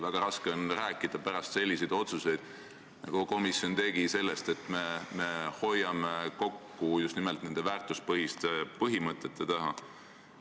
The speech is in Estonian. Väga raske on pärast selliseid otsuseid, nagu komisjon tegi, rääkida sellest, et me hoiame kokku ja seisame just nimelt nende väärtuspõhiste põhimõtete taga.